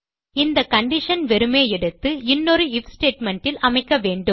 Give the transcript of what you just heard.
இந்த கண்டிஷன் வெறுமே எடுத்து இன்னொரு ஐஎஃப் ஸ்டேட்மெண்ட் இல் அமைக்க வேண்டும்